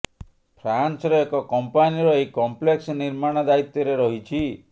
ଫ୍ରାନସର ଏକ କମ୍ପାନୀର ଏହି କମ୍ପ୍ଲେକ୍ସ ନିର୍ମାଣ ଦାୟିତ୍ୱରେ ରହିଛି